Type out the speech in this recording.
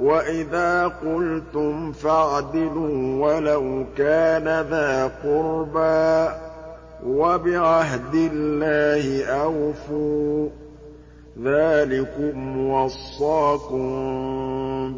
وَإِذَا قُلْتُمْ فَاعْدِلُوا وَلَوْ كَانَ ذَا قُرْبَىٰ ۖ وَبِعَهْدِ اللَّهِ أَوْفُوا ۚ ذَٰلِكُمْ وَصَّاكُم